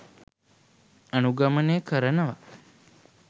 අනුගමනය කරනවා.